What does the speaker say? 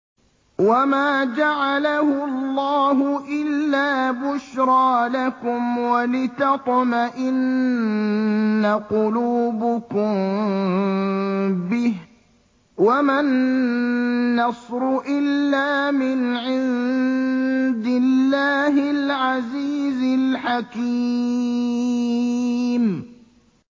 وَمَا جَعَلَهُ اللَّهُ إِلَّا بُشْرَىٰ لَكُمْ وَلِتَطْمَئِنَّ قُلُوبُكُم بِهِ ۗ وَمَا النَّصْرُ إِلَّا مِنْ عِندِ اللَّهِ الْعَزِيزِ الْحَكِيمِ